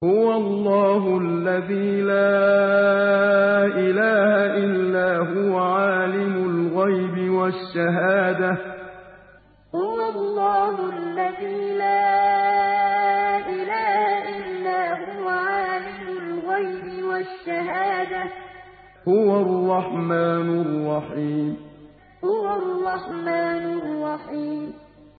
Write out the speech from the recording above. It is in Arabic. هُوَ اللَّهُ الَّذِي لَا إِلَٰهَ إِلَّا هُوَ ۖ عَالِمُ الْغَيْبِ وَالشَّهَادَةِ ۖ هُوَ الرَّحْمَٰنُ الرَّحِيمُ هُوَ اللَّهُ الَّذِي لَا إِلَٰهَ إِلَّا هُوَ ۖ عَالِمُ الْغَيْبِ وَالشَّهَادَةِ ۖ هُوَ الرَّحْمَٰنُ الرَّحِيمُ